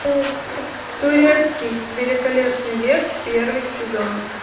турецкий великолепный век первый сезон